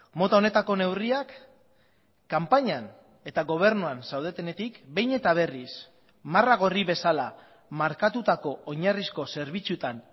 mota honetako neurriak kanpainan eta gobernuan zaudetenetik behin eta berriz marra gorri bezala markatutako oinarrizko zerbitzuetan